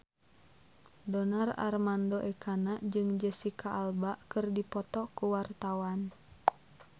Donar Armando Ekana jeung Jesicca Alba keur dipoto ku wartawan